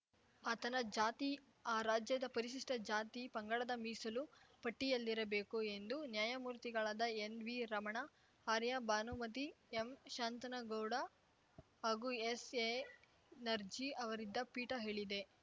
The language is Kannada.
ಆತನ ಜಾತಿ ಆ ರಾಜ್ಯದ ಪರಿಶಿಷ್ಟಜಾತಿ ಪಂಗಡದ ಮೀಸಲು ಪಟ್ಟಿಯಲ್ಲಿರಬೇಕು ಎಂದು ನ್ಯಾಯಮೂರ್ತಿಗಳಾದ ಎನ್‌ವಿ ರಮಣ ಆರ್ಯ ಭಾನುಮತಿ ಎಂ ಶಾಂತನಗೌಡ ಹಾಗೂ ಎಸ್‌ಎ ನರ್ಜೀ ಅವರಿದ್ದ ಪೀಠ ಹೇಳಿದೆ